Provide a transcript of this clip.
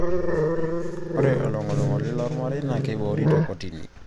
Ore oloing'oling'oli loormarei naa keboori te kotini